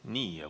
Nii.